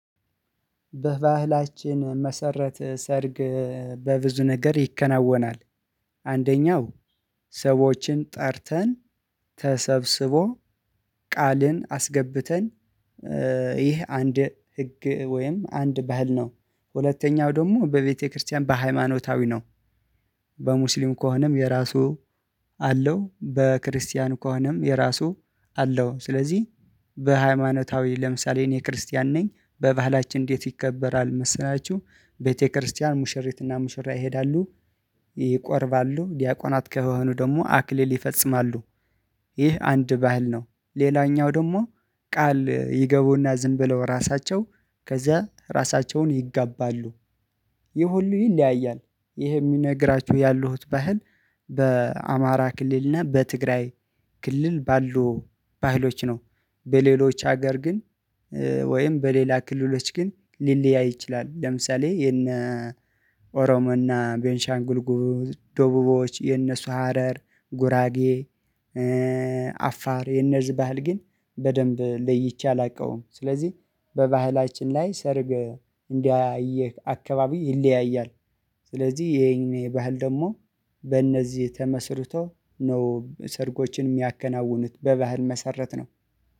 በባህላችን መሰረት ሰርግ በብዙ ነገር ይከናወናል። አንደኛው ሰዎችን ጠርተን ተሰብስቦ ቃልን አስገብተን ኧ ይኸ አንድ ህግ ወይም አንድ ባህል ነው። ሁለተኛው ደሞ በቤተክርስቲያን በሃይማኖታዊ ነው። በሙስሊም ከሆነም የራሱ አለው በክርስቲያን ከሆነም የራሱ አለው። ስለዚህ በሃይማኖታዊ ለምሳሌ እኔ ክርስቲያን ነኝ በባህላችን እንዴት ይከበራል መሰላችሁ? ቤተክርስቲያን ሙሽሪትና ሙሽሪያ ይሄዳሉ ይቆርባሉ ዲያቆናት ከሆኑ ደግሞ አክሊል ይፈጽማሉ። ይህ አንድ ባህል ነው ሌላኛው ደግሞ ቃል ይገቡና ዝም ብለው ራሳቸው ከዚያ ራሳቸውን ይጋባሉ። ይህ ሁሉ ይለያያል ይሄ የሚነግራችሁ ያሉሁት ባህል በአማራ ክልልና በትግራይ ክልል ባሉ ባህሎች ነው። በሌሎች ሀገር ግን ኧ ወይም በሌላ ክልሎች ግን ሊለያይ ይችላል። ለምሳሌ የእነ ኦሮሞና ቤንሻንጉል ጉሙዝ ደቡቦች የነሱ ሀረር ጉራጌ አፋር የእነዚህ ባህል ግን በደንብ ለይቼ አላውቀውም። ስለዚህ በባህላችን ላይ ሰርግ እንዳያየ አካባቢ ይለያያል። ስለዚህ ይሄን የባህል ደግሞ በእነዚህ ተመስርቶ ነው ሰርጎችን እሚያከናውኑት በባህል መሰረት ነው